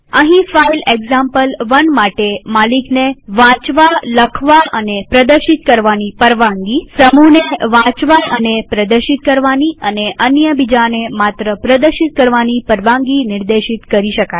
અહીં file example one માટે માલિકને વાંચવાનીલખવાનીપ્રદર્શિત કરવાની પરવાનગીસમૂહને વાંચવાનીપ્રદર્શિત કરવાની અને અન્ય બીજાને માત્ર પ્રદશિત કરવાની પરવાનગી નિર્દેશિત કરી શકાય